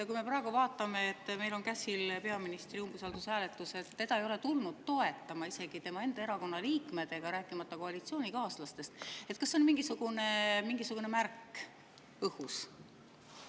Kui me praegu vaatame, et meil on käsil peaministri umbusalduse hääletus, aga teda ei ole tulnud toetama isegi tema enda erakonna liikmed, rääkimata koalitsioonikaaslastest, kas see siis on mingisugune märk õhus?